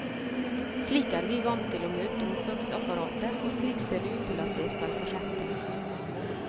Slik er vi vant til å møte omsorgsapparatet, og slik ser det ut til at det skal fortsette.